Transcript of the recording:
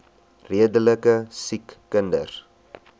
redelike siek kinders